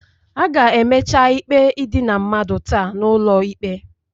A ga-emecha ikpe idina mmadụ taa n'ụlọ ikpe